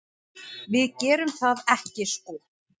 Við gerum það ekki sko.